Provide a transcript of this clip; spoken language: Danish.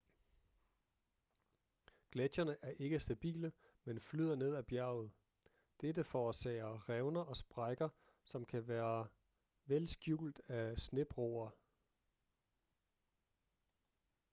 gletscherne er ikke stabile men flyder ned ad bjerget dette forårsager revner og sprækker som kan være vel skjult af snebroer